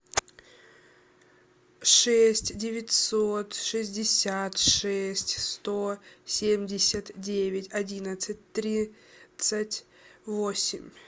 шесть девятьсот шестьдесят шесть сто семьдесят девять одиннадцать тридцать восемь